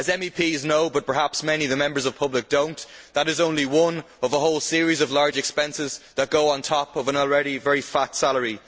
As MEPs know but perhaps many members of the public do not that is only one of a whole series of large expenses that go on top of an already very fat salary.